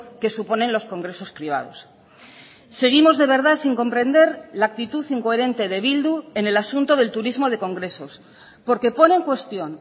que suponen los congresos privados seguimos de verdad sin comprender la actitud incoherente de bildu en el asunto del turismo de congresos porque pone en cuestión